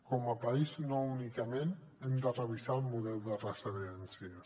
com a país no únicament hem de revisar el model de residències